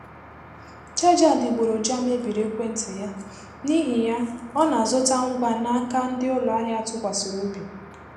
Chaja adịgboroja mebiri ekwentị ya, n'ihi ya ọ na-azụta ngwa n'aka ndị ụlọ ahịa atụkwasịrị obi.